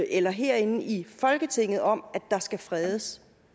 eller herinde i folketinget om skal fredes